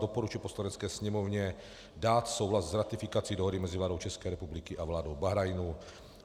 Doporučil Poslanecké sněmovně dát souhlas s ratifikací dohody mezi vládou České republiky a vládou Bahrajnu.